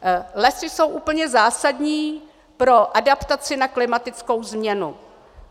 Lesy jsou úplně zásadní pro adaptaci na klimatickou změnu.